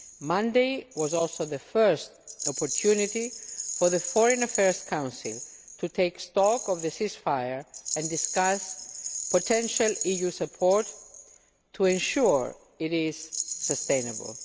Monday was also the first opportunity for the Foreign Affairs Council to take stock of the ceasefire and discuss potential EU support to ensure it is sustainable.